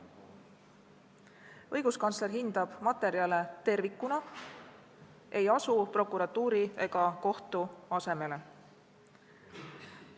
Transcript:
Õiguskantsler hindab materjale tervikuna, ei asu prokuratuuri ega kohtu asemele.